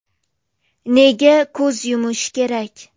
Nega ko‘z yumish kerak?